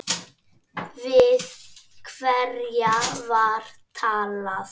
Við hverja var talað?